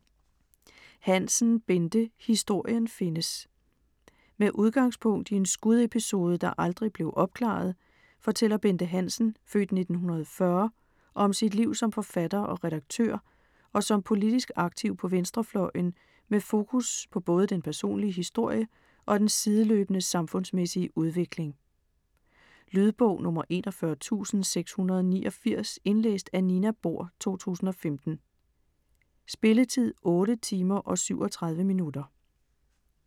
Hansen, Bente: Historien findes Med udgangspunkt i en skudepisode, der aldrig blev opklaret, fortæller Bente Hansen (f. 1940) om sit liv som forfatter og redaktør og som politisk aktiv på venstrefløjen, med fokus på både den personlige historie og den sideløbende samfundsmæssige udvikling. Lydbog 41689 Indlæst af Nina Bohr, 2015. Spilletid: 8 timer, 37 minutter.